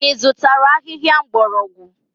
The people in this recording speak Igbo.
Ị zụtara ahịhịa mgbọrọgwụ?